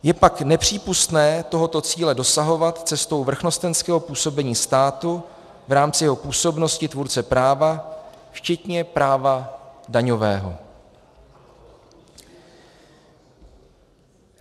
Je pak nepřípustné tohoto cíle dosahovat cestou vrchnostenského působení státu v rámci jeho působnosti tvůrce práva včetně práva daňového.